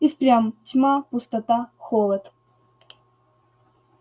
и впрямь тьма пустота холод